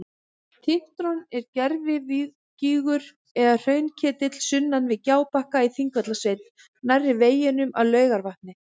Tintron er gervigígur eða hraunketill sunnan við Gjábakka í Þingvallasveit nærri veginum að Laugarvatni.